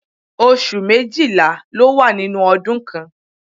Oṣù méjìlá ló wà nínú ọdún kan.